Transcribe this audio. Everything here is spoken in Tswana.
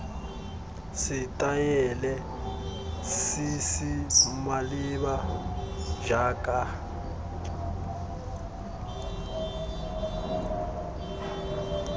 setaele se se maleba jaaka